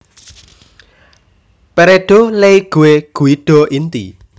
Peredo Leigue Guido Inti